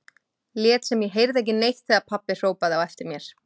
Lét sem ég heyrði ekki neitt þegar pabbi hrópaði á eftir mér.